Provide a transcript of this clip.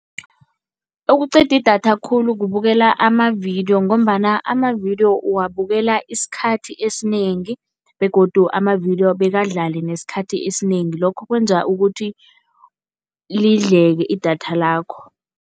Okuqeda idatha khulu kubukela amavidiyo ngombana amavidiyo uwabukela isikhathi esinengi begodu amavidiyo bekadlale nesikhathi esinengi, lokho kwenza ukuthi lidleke idatha lakho.